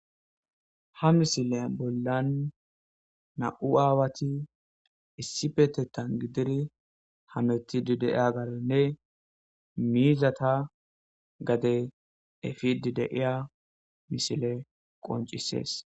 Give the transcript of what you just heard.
ha misile bollan na7u aawati issi petettan gidiri hamettidi deeya garenne miizata gade efidi deiya misile qoncisees